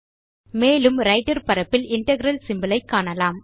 மேலும் ரைட்டர் பரப்பில் integral symbol ஐ காண்க